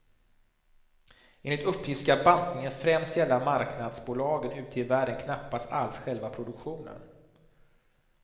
Enligt uppgift ska bantningen främst gälla marknadsbolagen ute i världen, knappast alls själva produktionen.